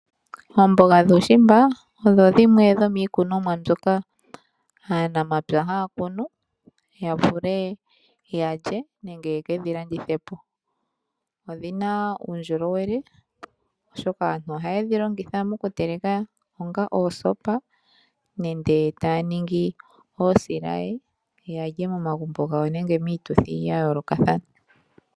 Oomboga dhuushimba odho dhimwe dho miikunwamo mbyoka aanamapya haya kunu ya vule yalye nenge ye ke dhi landithe po. Odhina uundjolowele oshoka aanhu ohaye dhi longitha mokuteleka onga oosopa nende taya ningi osilaye yalye momagumbo gawo nenge miituthi ya yoolokathana.